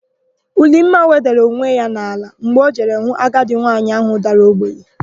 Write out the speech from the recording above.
Ulimma wedara onwe ya n'ala mgbe o jere hụ agadi nwaanyị áhụ̀ dara ogbenye.